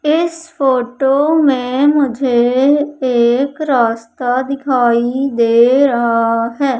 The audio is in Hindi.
इस फोटो में मुझे एक रास्ता दिखाई दे रहा है।